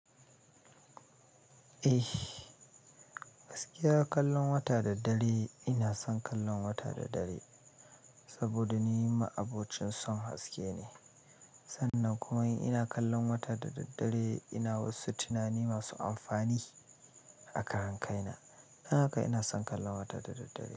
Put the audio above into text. Eh, gaskiya kallon wata da dare ina son kallon wata da dare saboda ni ma abokin son haske ne. Sannan kuma in ina kallon wata da daddare ina wasu tunani masu amfani a karankaina. Dan haka ina son kallon wata da daddare.